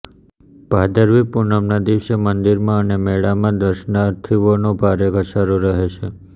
ભાદરવી પૂનમના દિવસે મંદિરમાં અને મેળામાં દર્શનાર્થીઓનો ભારે ધસારો રહે છે